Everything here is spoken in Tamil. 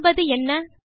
காண்பது என்ன160